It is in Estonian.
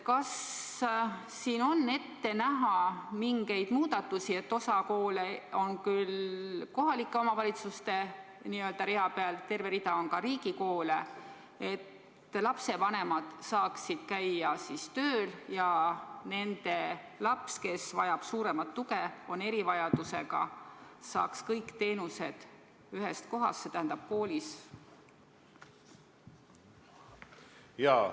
Kas siin on ette näha mingisuguseid muudatusi – osa koole on küll kohalike omavalitsuste n-ö rea peal, aga terve rida on riigikoole –, et lapsevanemad saaksid käia tööl ja nende laps, kes vajab suuremat tuge, on erivajadusega, saaks kõik teenused kätte ühest kohast, koolist?